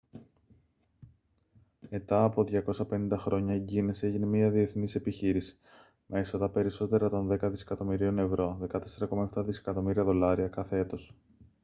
ετά από 250 χρόνια η guiness έγινε μια διαθνής επιχείρηση με έσοδα περισσότερα των δέκα δισεκατομμυρίων ευρώ 14.7 δισεκατομμύρια δολάρια κάθε έτος